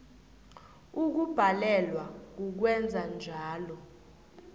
ukubhalelwa kukwenza njalo